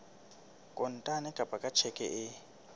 kontane kapa ka tjheke e